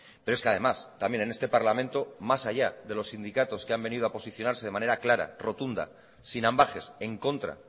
pero es que además también en este parlamento más allá de los sindicatos que han venido a posicionarse de manera clara rotunda sin ambages en contra